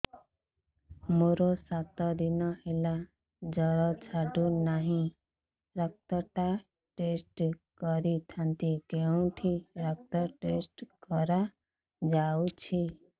ମୋରୋ ସାତ ଦିନ ହେଲା ଜ୍ଵର ଛାଡୁନାହିଁ ରକ୍ତ ଟା ଟେଷ୍ଟ କରିଥାନ୍ତି କେଉଁଠି ରକ୍ତ ଟେଷ୍ଟ କରା ଯାଉଛି